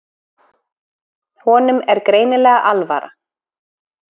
Honum er greinilega alvara.